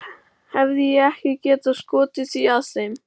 Hefði ég ekki getað skotið því að þeim